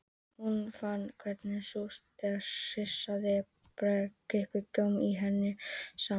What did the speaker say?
Hún fann hvernig súrt og hressandi bragðið kipraði góminn í henni saman